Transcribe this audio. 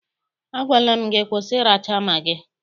Agwala m gị, kwụsị ịracha magị!